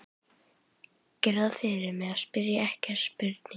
Gerðu það fyrir mig að spyrja ekki þessarar spurningar